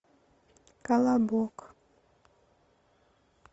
колобок